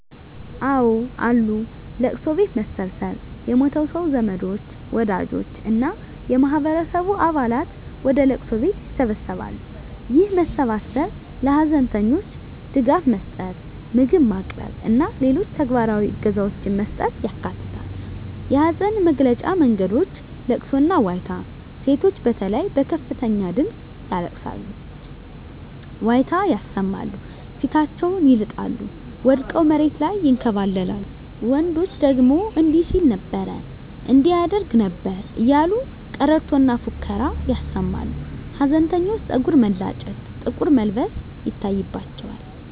አወ አሉ፦ ለቅሶ ቤት መሰብሰብ የሞተው ሰው ዘመዶች፣ ወዳጆች እና የማህበረሰቡ አባላት ወደ ለቅሶ ቤት ይሰበሰባሉ። ይህ መሰባሰብ ለሀዘንተኞች ድጋፍ መስጠት፣ ምግብ ማቅረብ እና ሌሎች ተግባራዊ እገዛዎችን መስጠትን ያካትታል። የሀዘን መግለጫ መንገዶች * ለቅሶና ዋይታ: ሴቶች በተለይ በከፍተኛ ድምጽ ያለቅሳሉ፣ ዋይታ ያሰማሉ፣ ፊታቸውን ይልጣሉ፣ ወድቀው መሬት ላይ ይንከባለላሉ፤ ወንዶች ደግሞ እንዲህ ሲል ነበር እንዲህ ያደርግ ነበር እያሉ ቀረርቶና ፉከራ ያሰማሉ። ሀዘንተኞች ፀጉር መላጨት፣ ጥቁር መልበስ ይታይባቸዋል።